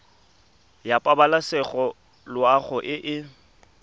ya pabalesego loago e e